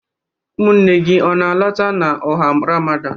Ụmụnne gị ọ na-alọta n'ọha Ramadan?